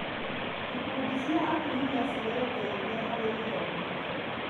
Ikundi cia atumi cirateithia harĩ gĩthomo.